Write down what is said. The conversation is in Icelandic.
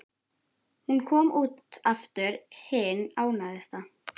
Hún kom út aftur hin ánægðasta.